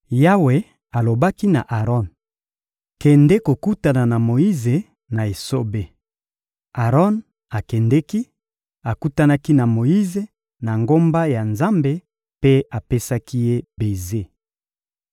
Yawe alobaki na Aron: — Kende kokutana na Moyize na esobe. Aron akendeki, akutanaki na Moyize na ngomba ya Nzambe mpe apesaki ye beze.